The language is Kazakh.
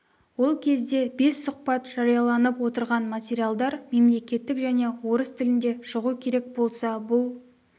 ол кезде бес сұхбат жарияланып отырған материалдар мемлекеттік және орыс тілінде шығу керек болса бұл